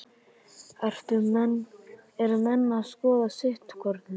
Eru menn að skoða sitthvorn hlutinn?